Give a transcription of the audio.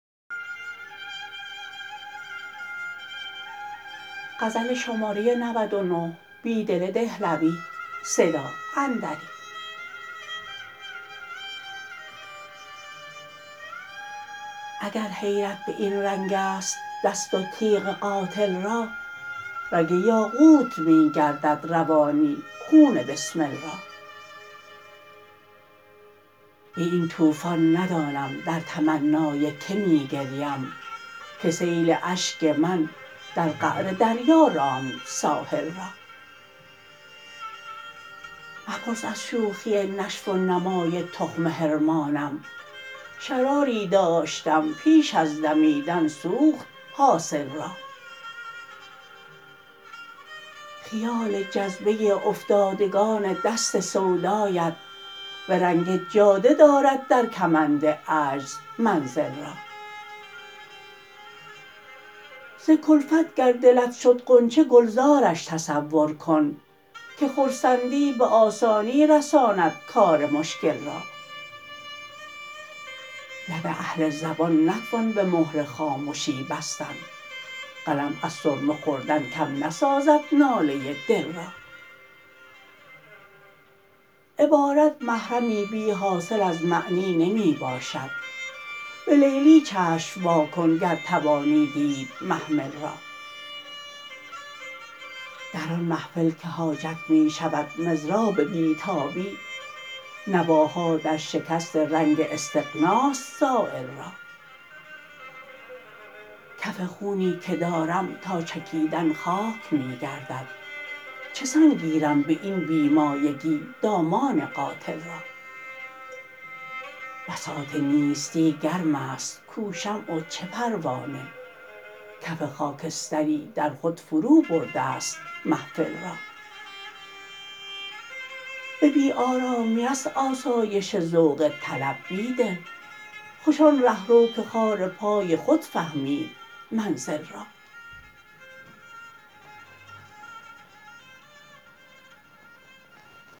اگرحیرت به این رنگست دست وتیغ قاتل را رگ باقوت می گردد روانی خون بسمل را به این توفان ندانم در تمنای که می گریم که سیل اشک من در قعر دریا راند ساحل را مپرس از شوخی نشو و نمای تخم حرمانم شراری دشتم پیش ازدمیدن سوخت حاصل را خیال جذبه افتادگان دست سودایت به رنگ جاده دارد درکمند عجز منزل را زکلفت گر دلت شد غنچه گلزارش تصورکن که خرسندی به آسانی رساندکار مشکل را لب اهل زبان نتوان به مهر خامشی بستن قلم از سرمه خوردن کم نسازد ناله دل را عبارت محرمی بی حاصل از معنی نمی باشد به لیلی چشم واکن گر توانی دید محمل را درآن محفل که حاجت می شود مضراب بیتابی نواها درشکست رنگ استغناست سایل را کف خونی که دارم تا چکیدن خاک می گردد چه سان گیرم به این بی مایگی دامان قاتل را بساط نیستی گرم است کو شمع و چه پروانه کف خاکستری در خود فرو برده ست محفل را به بی ارامی است آسایش ذوق طلب بیدل خوش آن رهروکه خار پای خود فهمید منزل را